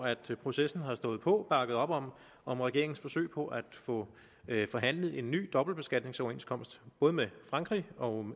processen har stået på bakket op om om regeringens forsøg på at få forhandlet en ny dobbeltbeskatningsoverenskomst både med frankrig og